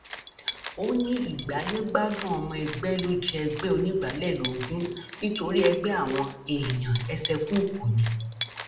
ó ní ìgbáyégbádùn ọmọ ẹgbẹ ló jẹ ẹgbẹ onígbàálẹ lógún nítorí ẹgbẹ àwọn èèyàn ẹsẹkúùkù ni